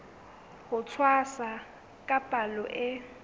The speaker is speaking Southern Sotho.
ho tshwasa ka palo e